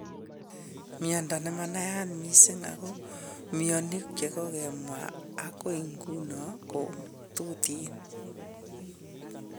Miondo nemanaiyat mising' ako mionik chekokemwa akoi ng'uni kotuteen